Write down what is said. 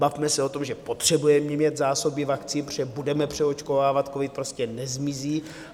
Bavme se o tom, že potřebujeme mít zásoby vakcín, protože budeme přeočkovávat, covid prostě nezmizí.